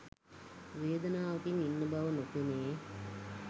වේදනාවකින් ඉන්නා බව නොපෙනේ.